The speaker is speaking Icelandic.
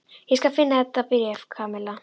Ég skal finna þetta bréf, Kamilla.